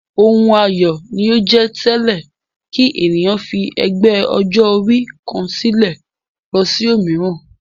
Ohun ayọ̀ ni ó jẹ́ tẹ́lẹ̀ kí ènìyàn fi ẹgbẹ́ ọjọ́-orí kan sílẹ̀ lọ sí òmíràn.